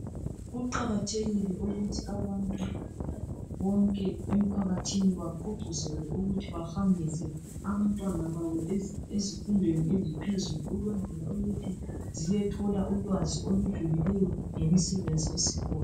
Kuqakathekile ukuthi abantu bonke emphakathini bagqugquzelwe ukuthi bahambise abantwana babo ezifundweni eziphezulu ukwenzela ukuthi bayethola ulwazi olujulileyo ngemisebenzi esikhona.